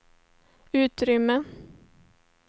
utrymme